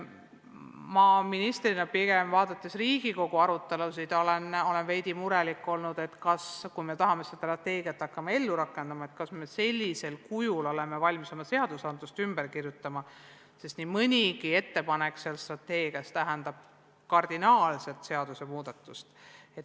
Mina ministrina, jälgides Riigikogu arutelusid, olen veidi murelik olnud pigem selle pärast, et kui tahame seda strateegiat hakata ellu rakendama, siis kas me oleme sellisel kujul valmis seadust ümber kirjutama, sest nii mõnigi strateegiaga seotud ettepanek tähendab kardinaalset seadusemuudatust.